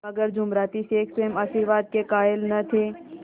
मगर जुमराती शेख स्वयं आशीर्वाद के कायल न थे